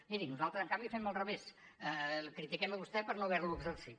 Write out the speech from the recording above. miri nosaltres en canvi fem al revés el critiquem a vostè per no haver lo exercit